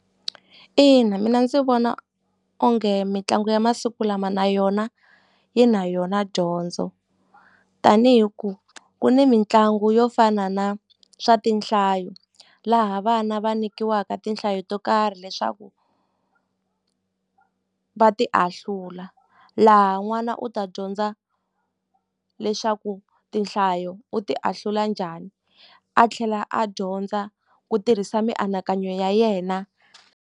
Ina, mina ndzi vona onge mitlangu ya masiku lama na yona yi na yona dyondzo tani hi ku ku ni mitlangu yo fana na swa tinhlayo laha vana va nikiwaka tinhlayo to karhi leswaku va ti ahlula laha n'wana u ta dyondza leswaku tinhlayo u ti ahlula njhani a tlhela a dyondza ku tirhisa mianakanyo ya yena.